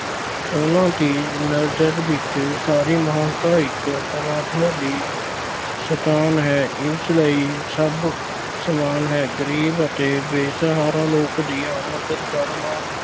ਉਨ੍ਹਾਂ ਦੀ ਨਜ਼ਰ ਵਿੱਚ ਸਾਰੀ ਮਾਨਵਤਾ ਇੱਕ ਪ੍ਰਮਾਤਮਾ ਦੀ ਸੰਤਾਨ ਹੈ। ਇਸ ਲਈ ਸਭ ਸਮਾਨ ਹੈ। ਗਰੀਬ ਅਤੇ ਬੇਸਹਾਰਾ ਲੋਕਾਂ ਦੀ ਮੱਦਦ ਕਰਨਾ